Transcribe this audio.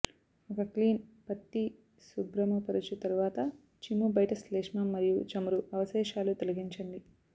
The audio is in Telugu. ఒక క్లీన్ పత్తి శుభ్రముపరచు తరువాత చిమ్ము బయట శ్లేష్మం మరియు చమురు అవశేషాలు తొలగించండి